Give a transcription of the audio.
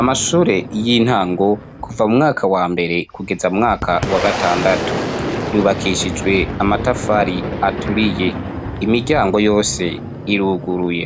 Amashure y'intango kuva mu mwaka wa mbere kugeza mumwaka wa gatandatu ,yubakishijwe amatafari aturiye imiryango yose iruguruye